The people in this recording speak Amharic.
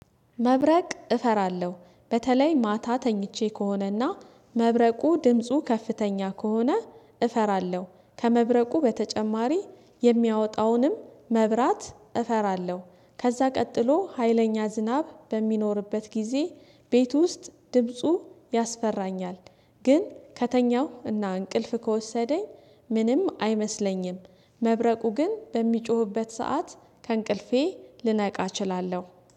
መብረቅ እፈራለሁ በተለይ ማታ ተኝቼ ከሆነና መብረቁ ድምፁ ከፍተኛ ከሆነ እፈራለሁ። ከመብረቁ በተጨማሪ የሚያወጣውንም መብራት እፈራለሁ። ከዛ ቀጥሎ ሀይለኛ ዝናብ በሚኖርበት ጊዜ ቤት ውስጥ ድምፁ ያስፈራኛል ግን ከተኛሁ እና እንቅልፍ ከወሰደኝ ምንም አይመስለኝም መብረቁ ግን በሚጮህበት ሰዓት ከእንቅልፌ ልነቃ እችላለሁ